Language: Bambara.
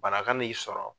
Bana ka n'i sɔrɔ